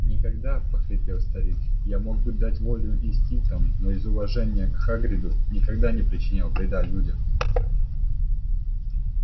никогда прохрипел старик я мог бы дать волю инстинктам но из уважения к хагриду никогда не причинял вреда людям